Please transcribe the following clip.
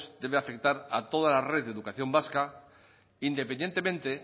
debe afectar a toda la red de educación vasca independientemente